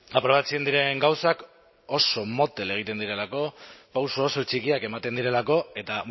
aprobatzen diren gauzak oso motel egiten direlako pauso oso txikiak ematen direlako eta